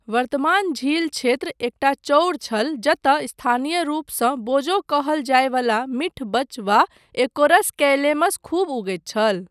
वर्तमान झील क्षेत्र एकटा चओर छल जतय स्थानीय रूपसँ बोजो कहल जाय वला मीठ बच वा एकोरस कैलेमस खूब उगैत छल।